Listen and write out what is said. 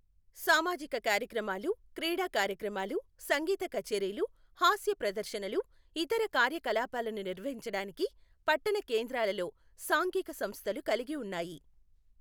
సామాజిక కార్యక్రమాలు, క్రీడా కార్యక్రమాలు, సంగీత కచేరీలు, హాస్య ప్రదర్శనలు, ఇతర కార్యకలాపాలను నిర్వహించడానికి పట్టణ కేంద్రాలలో సాంఘిక సంస్థలు కలిగి ఉన్నాయి.